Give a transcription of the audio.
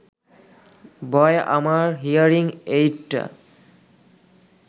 বয় আমার হিয়ারিং এইডটা